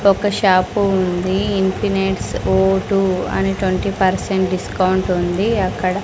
ఒక షాపు ఉంది ఇన్ఫినిట్స్ ఓ టు ట్వంటీ పర్సెంట్ డిస్కౌంట్ ఉంది అక్కడ.